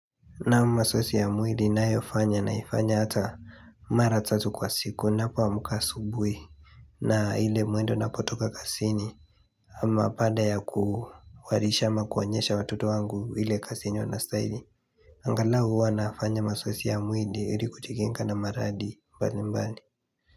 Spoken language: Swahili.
Naa mazeosi ya mwili ninayofanya naifanya hata maratatu kwa siku ninapo amka asubuhi na ile mwendo napotoka kazini ama baada ya kuharisha ama kuonyesha watoto wangu ile kazi yenye wanastahili Angalau huwa nafanya mazoeozi ya mwili ili kujikinga na maradhi mbali mbali.